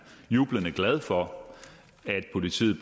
jublende glad for at politiet